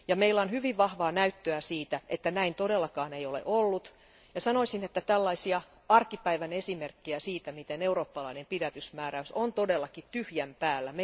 Meillä on hyvin vahvaa näyttöä siitä, että näin todellakaan ei ole ollut, ja sanoisin, että meillä on vaikka kuinka paljon tällaisia arkipäivän esimerkkejä siitä, miten eurooppalainen pidätysmääräys on todellakin tyhjän päällä.